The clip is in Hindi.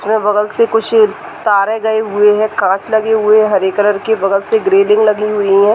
उसके बगल से कुछ तारे गए हुए है कांच लगे हुए है हरे कलर के बगल से एक रेलिंग लगी हुई है।